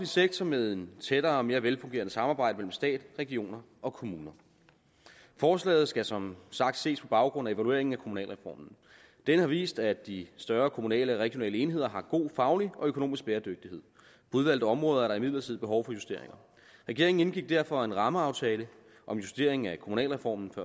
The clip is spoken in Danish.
sektor med et tættere og mere velfungerende samarbejde mellem stat regioner og kommuner forslaget skal som sagt ses på baggrund af evalueringen af kommunalreformen denne har vist at de større kommunale og regionale enheder har god faglig og økonomisk bæredygtighed på udvalgte områder er der imidlertid behov for justeringer regeringen indgik derfor før sommerferien en rammeaftale om justering af kommunalreformen